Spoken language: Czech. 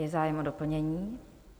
Je zájem o doplnění?